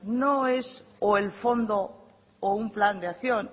no es o el fondo o un plan de acción